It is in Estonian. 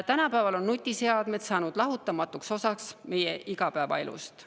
Tänapäeval on nutiseadmed saanud lahutamatuks osaks meie igapäevaelust.